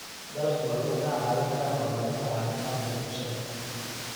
Dalaggu wuxuu kaa caawin karaa horumarinta caafimaadka bulshada.